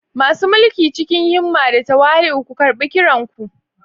Masu mulki, cikin himma da tawali'u ku karɓi kiran ku.